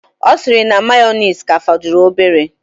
Ọ sịrị na mayoneesi ka fọdụrụ obere.